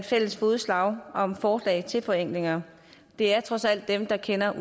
fælles fodslag om forslag til forenklinger det er trods alt dem der kender